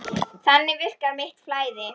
Þannig virkar mitt flæði.